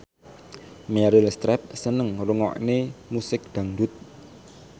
Meryl Streep seneng ngrungokne musik dangdut